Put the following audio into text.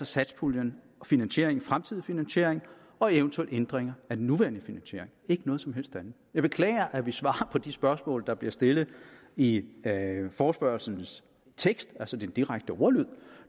satspuljens finansiering fremtidige finansiering og eventuelle ændringer af den nuværende finansiering ikke noget som helst andet jeg beklager at vi svarer på de spørgsmål der bliver stillet i forespørgslens tekst altså i den direkte ordlyd